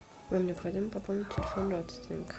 вам необходимо пополнить телефон родственника